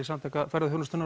Samtaka ferðaþjónustunnar